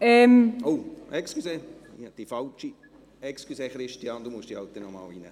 Christian Bachmann, Sie müssen sich noch einmal in die Rednerliste eintragen.